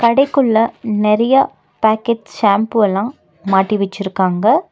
கடைக்குள்ள நெறைய packet shampoo அல்லா மாட்டி வச்சிருக்காங்க.